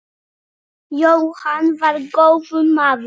Jóhann var góður maður.